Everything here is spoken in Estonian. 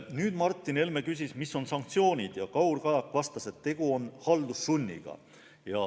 Nüüd küsis Martin Helme, et millised on sanktsioonid, ja Kaur Kajak vastas, et tegu on haldussunniga.